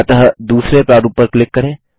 अतः दूसरे प्रारूप पर क्लिक करें